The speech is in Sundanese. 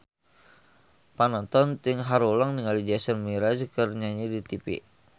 Panonton ting haruleng ningali Jason Mraz keur nyanyi di tipi